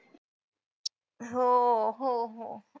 हो. हो हो.